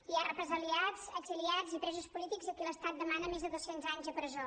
hi ha represaliats exiliats i presos polítics a qui l’estat demana més de dos cents anys de presó